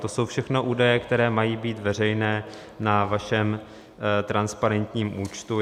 To jsou všechno údaje, které mají být veřejné na vašem transparentním účtu.